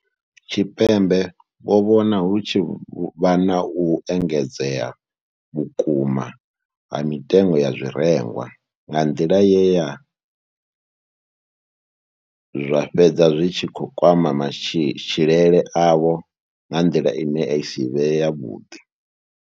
Tshipembe vho vhona hu tshi vha na u engedzea vhukuma ha mitengo ya zwirengwa nga nḓila ye ya zwa fhedza zwi tshi kwama matshilele avho nga nḓila ine ya si vhe yavhuḓi.